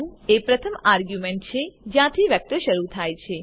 1 એ પ્રથમ આર્ગ્યુંમેન્ટ છે જ્યાંથી વેક્ટર શરૂ થાય છે